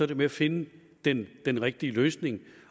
det med at finde den den rigtige løsning